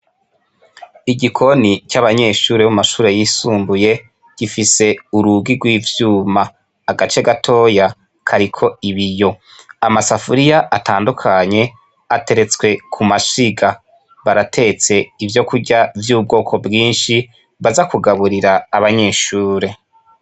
Igikoni c'abanyeshure bo mu mashure yisumbuye gifise urugi rw'ivyuma, agace gatoyi kariko ibiyo, amasafuriya atandukanye ateretswe kumashiga, baratetse ivyokurya vy'ubwoko bwinshi baza kugaburira abanyeshure.